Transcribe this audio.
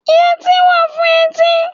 Yẹtí wà fún etí.